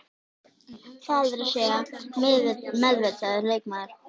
Það er að segja meðvitaður leikmaður.